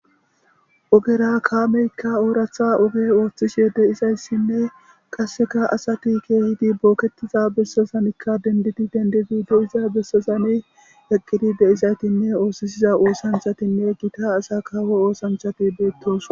ogera kaameykka ooratha oge ooththishe de'izayssinne qasseka asati kehidi bookketiza bessazanikka dendidi dendidido iza bessazani eqqidi de'izaytinne oosisiza oosanthatinne gita asa kawo oosanchati beettos